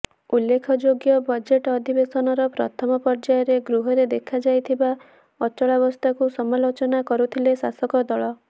ଉଲ୍ଲେଖଯୋଗ୍ୟ ବଜେଟ୍ ଅଧିବେଶନର ପ୍ରଥମ ପର୍ଯ୍ୟାୟରେ ଗୃହରେ ଦେଖାଯାଇଥିବା ଅଚଳାବସ୍ଥାକୁ ସମାଲୋଚନା କରୁଥିଲେ ଶାସକ ଦଳ